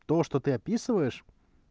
то что ты описываешь